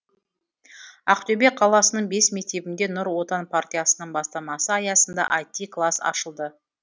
ақтөбе қаласының бес мектебінде нұр отан партиясының бастамасы аясында іт класс ашылды